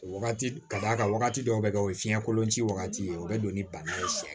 Wagati ka d'a ka wagati dɔw bɛ kɛ o ye fiɲɛ kolon ci wagati ye o bɛ don ni bana ye siɲɛ